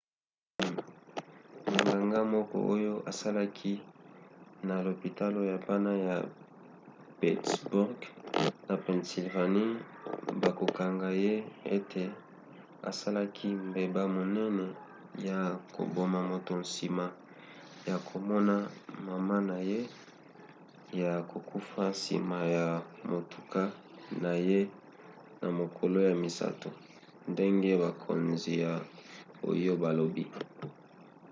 monganga moko oyo asalaki na lopitalo ya bana ya pittsburgh na pennsylvanie bakokanga ye ete asalaki mbeba monene ya koboma moto nsima ya komona mama na ye ya kokufa na nsima ya motuka na ye na mokolo ya misato ndenge bakonzi ya ohio balobi